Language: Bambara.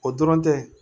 O dɔrɔn tɛ